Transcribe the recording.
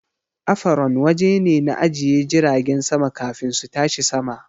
Afaron waje ne na ajiye jiragen sama kafin su tashi sama